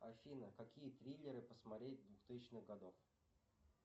афина какие триллеры посмотреть двухтысячных годов